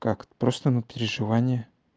как просто на три желания